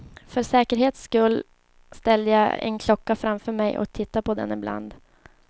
För säkerhets skull ställde jag en klocka framför mig och tittade på den ibland.